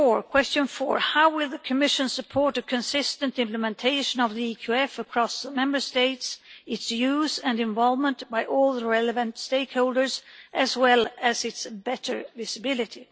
Question 4 how will the Commission support a consistent implementation of the EQF across Member States, its use and involvement by all the relevant stakeholders, as well as its better visibility?